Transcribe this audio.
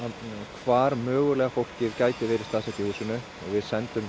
hvar mögulega fólkið gæti verið staðsett í húsinu og við sendum